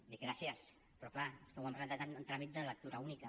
i dic gràcies però clar és que ho han presentat en tràmit de lectura única